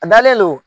A dalen don